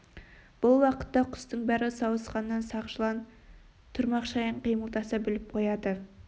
бұл уақытта құстың бәрі сауысқаннан сақ жылан тұрмақ шаян қимылдаса біліп қояды